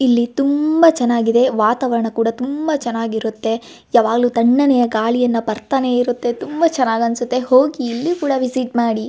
ಇಲ್ಲಿ ತುಂಬಾ ಚನ್ನಾಗಿದೆ ವಾತಾವರಣ ಕೂಡ ತುಂಬಾ ಚನ್ನಾಗಿರುತ್ತೆ ಯಾವಾಗ್ಲು ತಣ್ಣನೆಯ ಗಾಳಿಯನ್ನ ಬರತ್ತಾನೆ ಇರುತ್ತೆ ತುಂಬಾ ಚನ್ನಾಗ ಅನ್ನಸುತ್ತೆ ಹೋಗಿ ಇಲ್ಲಿ ಕೂಡ ವಿಸಿಟ್ ಮಾಡಿ.